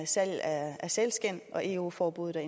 salg af sælskind og eu forbuddet